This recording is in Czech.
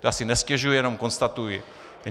Já si nestěžuji, jenom konstatuji.